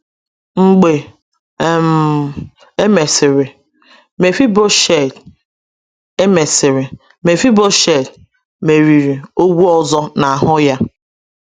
Mgbe um e mesịrị, Mephibosheth e mesịrị, Mephibosheth meriri ogwu ọzọ n’ahụ ya.